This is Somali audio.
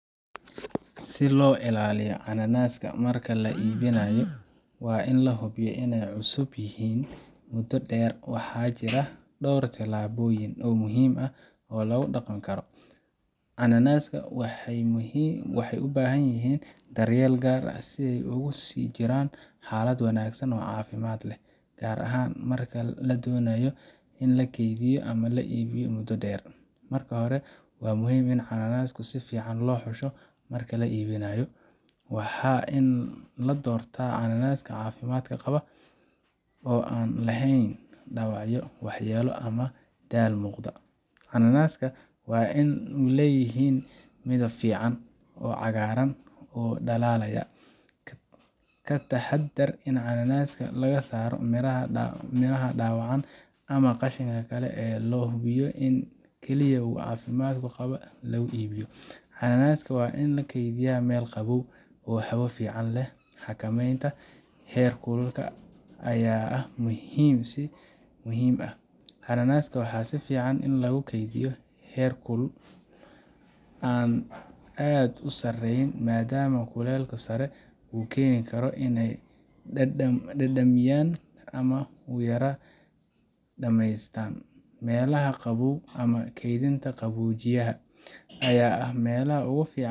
Si loo ilaaliyo cananaska marka la iibinayo oo la hubiyo inay cusub yihiin muddo dheer, waxaa jira dhowr tillaabo oo muhiim ah oo lagu dhaqmi karo. Cananaska waxay u baahan yihiin daryeel gaar ah si ay ugu sii jiraan xaalad wanaagsan oo caafimaad leh, gaar ahaan marka la doonayo in la kaydiyo ama la iibiyo muddo dheer. Marka hore, waa muhiim in cananaska si fiican loo xusho marka la iibinayo. Waa in la doortaa cananaska caafimaad qaba, oo aan laheyn dhaawacyo, waxyeelo ama daal muuqda. Cananaska waa in ay leeyihiin midab fiican, oo cagaaran oo dhalaalaya. Ka taxaddar in cananaska laga saaro miraha dhaawacan ama qashinka kale si loo hubiyo in kaliya kuwa caafimaad qaba lagu iibiyo. Cananaska waa in la kaydiyaa meel qabow, oo hawo fiican leh. Xakamaynta heerkulka ayaa ah mid muhiim ah. Cananaska waxaa fiican in lagu kaydiyo heerkul aan aad u sarreyn, maadaama kulka sare uu keeni karo inay dhadhamiyaan ama u yara dhammaystaan. Meelaha qabow ama kaydinta qaboojiyaha ayaa ah meelaha ugu fiican .